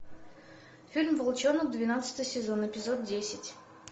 фильм волчонок двенадцатый сезон эпизод десять